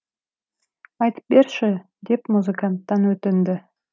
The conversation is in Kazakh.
айтып берші деп музыканттан өтінді